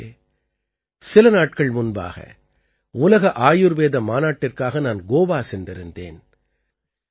நண்பர்களே சில நாட்கள் முன்பாக உலக ஆயுர்வேத மாநாட்டிற்காக நான் கோவா சென்றிருந்தேன்